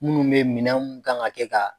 Munnu bɛ ye minɛn mun kan ka kɛ ka.